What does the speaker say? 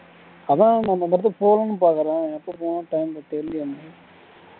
அதுதான் நம்ம அந்த இடத்துக்கு போனும்னு பாக்குற எப்போ தெரில